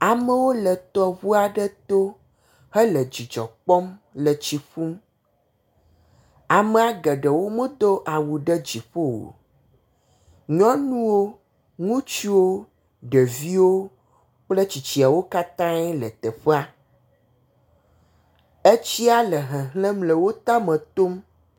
Amewo le tɔŋu aɖe to hele dzidzɔ kpɔm le tsi ƒum. Amea geɖewo medo awu ɖe dziƒo o. Nyɔnuwo, ŋutsuwo, ɖeviwo kple tsitsiawo katãe le teƒea. Etsia le hehlem le wo tame tom.